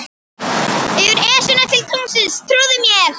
Yfir Esjuna til tunglsins, trúðu mér.